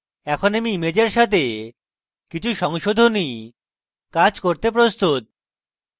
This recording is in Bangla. এখন আমি ইমেজের সাথে কিছু সংশোধনী কাজ করতে প্রস্তুত